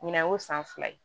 Ɲinan y'o san fila ye